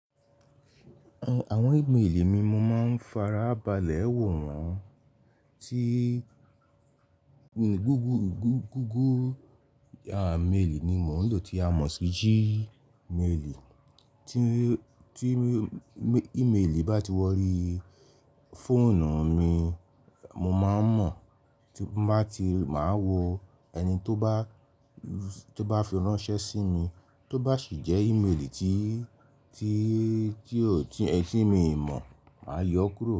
Àwọn ìméèlì mi mo máa ń farabalẹ̀ wò wọ́n. Tí google, google à méèlì ni mò ń lò tí a mọ̀ sí g máàlì. Tí, tí ímèèlì bá ti wọrí fóònù mi, mo máa ń mọ̀ tí mo bá ti máa wo ẹni tó bá, tó bá fi ránṣẹ́ sí mi. Tó bá sì jẹ́ ímèèlì tí, tí, tí ọ̀tí ẹ tí mi mọ̀, màá yọ kúrò.